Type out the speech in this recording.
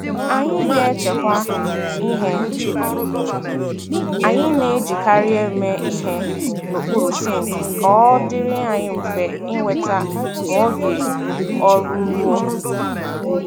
Anyị na-echekwa ihe anyị na-ejikari eme ihe n'okpuru sinki ka ọ dịrị anyị mfe ị weta ma oge ọrụ rue.